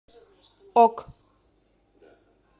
ок